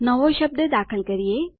નવો શબ્દ દાખલ કરીએ